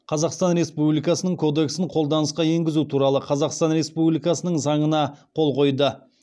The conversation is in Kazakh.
қазақстан республикасының кодексін қолданысқа енгізу туралы қазақстан республикасының заңына қол қойды